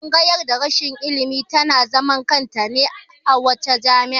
Tsangayar darasin ilimi ta na zaman kanta ne a kowace jami'a